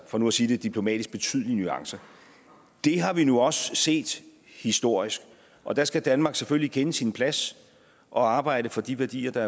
for nu at sige det diplomatisk betydelige nuancer det har vi nu også set historisk og der skal danmark selvfølgelig kende sin plads og arbejde for de værdier der